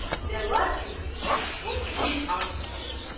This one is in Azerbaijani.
Və lakin tək bir arzusu var.